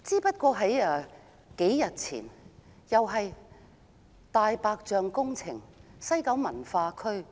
數天前，另一項"大白象"工程——西九文化區......